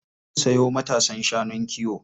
Za mu sayo matasan shanun kiwo.